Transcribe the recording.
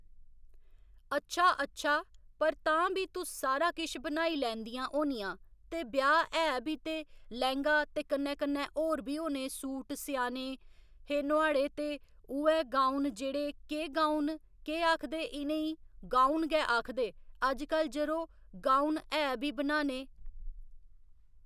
अच्छा अच्छा पर तां भी तुस सारा किश बनाई लैंदियां होनियां ते ब्याह् ऐ भी ते लैह्ंगा ते कन्नै कन्नै होर बी होने सूट सेआने हे नुआढ़े ते उ'ऐ गाऊन जेह्ड़े केह् गाऊन केह् आखदे इनें ई गाऊन गै आखदे अजकल जरो गाऊन है बी बनाने